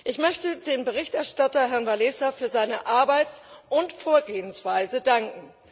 Ich möchte dem Berichterstatter Herrn Wałęsa für seine Arbeit und Vorgehensweise danken.